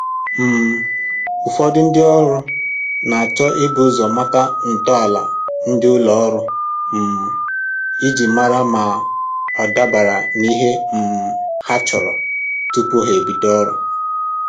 um Ụfọdụ ndị ọrụ na-achọ ibu ụzọ mata ntọala ndị ụlọ ọrụ um iji mara ma ọ dabara n'ihe um ha chọrọ tupu ha ebido ọrụ